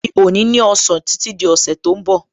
Mi ò ní ní ọ̀sán títí di ọ̀sẹ̀ tó ń bọ̀